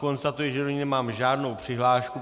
Konstatuji, že do ní nemám žádnou přihlášku.